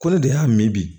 Ko ne de y'a min bi